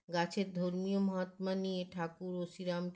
গাছের ধর্মীয় মহাত্মা নিয়ে ঠাকুর ও শ্রীরাম